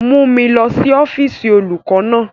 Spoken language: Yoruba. Mu mi lọ si ọfiisi olukọ naa!